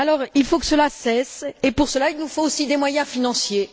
Il faut que cela cesse, et pour cela il nous faut aussi des moyens financiers.